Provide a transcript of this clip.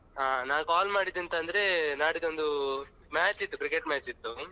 ಹಾ ನಾನ್ call ಮಾಡಿದ್ದು ಎಂತ ಅಂದ್ರೆ ನಾಡಿದ್ದು ಒಂದು match ಇತ್ತು Cricket match ಇತ್ತು.